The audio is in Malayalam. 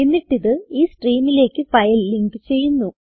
എന്നിട്ട് ഇത് ഈ സ്ട്രീമിലേക്ക് ഫയൽ ലിങ്ക് ചെയ്യുന്നു